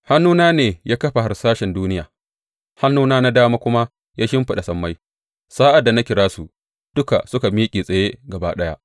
Hannuna ne ya kafa harsashen duniya, hannuna na dama kuma ya shimfiɗa sammai; sa’ad da na kira su, duka suka miƙe tsaye gaba ɗaya.